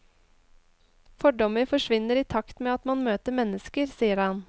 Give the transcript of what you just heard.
Fordommer forsvinner i takt med at man møter mennesker, sier han.